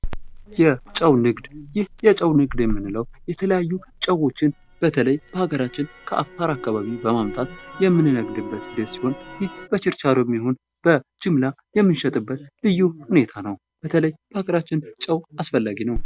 የጨው ንግድ ይህ የጨው ንግድ የምንለው የተለያዩ ጨዎችን በተለይ በሀገራችን ከአፋር አካባቢ በማምጣት የምንነግድበት ሂደት ሲሆን ይህ በቸርቻሮም ይሆን በጅምላ የምሸጥበት ልዩ ሁኔታ ነው። በተለይ በሀገራችን ጨው አስፈላጊ ነው።